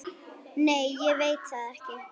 Nei ég veit það ekki.